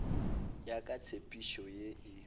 ya ka tshepedišo ye e